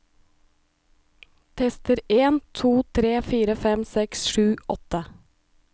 Tester en to tre fire fem seks sju åtte